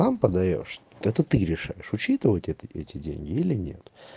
там подаёшь это ты решаешь учитывать эти деньги или нет